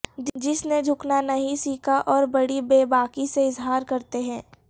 جس نے جھکنا نہیں سیکھا اور بڑی بے باکی سے اظہار کرتے رہے